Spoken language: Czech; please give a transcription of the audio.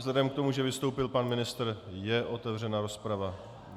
Vzhledem k tomu, že vystoupil pan ministr, je otevřená rozprava.